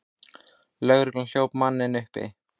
Lögregla hljóp manninn uppi.